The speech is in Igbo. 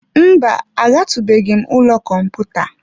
Mba, agatụbeghị m ụlọ kọmputa.